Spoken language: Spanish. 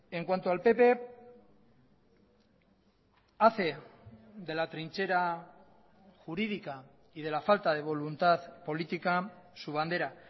en cuanto al pp hace de la trinchera jurídica y de la falta de voluntad política su bandera